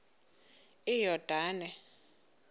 iyordane